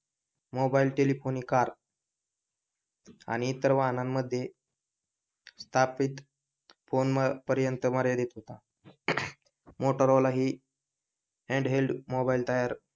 mobile telephone आणि car आणि इतर वाहनामध्ये स्थापित फोन पर्यंत मर्यादित होता मोटोरोला हि हॅण्डहेल्ड मोबाइल तयार,